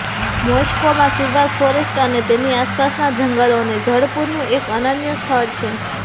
મોસ્કોમાં silver forest અને તેની આસપાસના જંગલો અને જળ પૂરનું એક અનન્ય સ્થળ છે